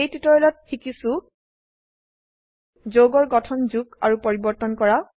এই টিউটোৰিয়েলত শিকিছো যৌগৰ গঠন যোগ আৰু পৰিবৰ্তন কৰা